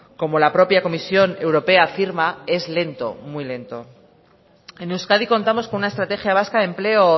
como la propia comisión europea afirma es lento muy lento en euskadi contamos con una estrategia vasca de empleo